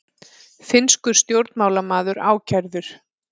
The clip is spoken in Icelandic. Finnskur stjórnmálamaður ákærður